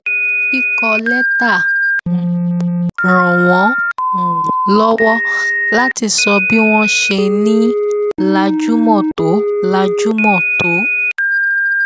kíkọ létà um ràn wón um lọwọ láti sọ bí wón ṣe ń ní láìjùmọ tó láìjùmọ tó